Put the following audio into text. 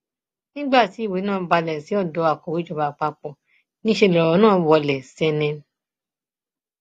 nígbà tí ìwé náà balẹ sí odò akọwé ìjọba àpapọ níṣẹ lọrọ nà wọlé sẹnẹn